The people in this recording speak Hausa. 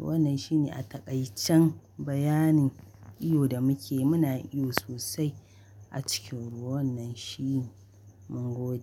Wannan shi ne a taƙaicin bayanin iyo da muke yi. Muna iyo sosai a cikin ruwa wannan shine mungode.